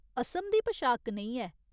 असम दी पशाक कनेही ऐ ?